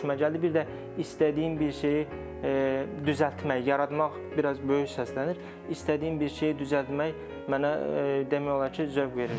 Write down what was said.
Bir də istədiyin bir şeyi düzəltmək, yaratmaq biraz böyük səslənir, istədiyin bir şeyi düzəltmək mənə demək olar ki, zövq verir.